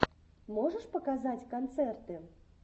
можешь показать концерты